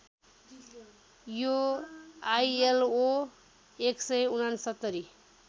यो आईएलओ १६९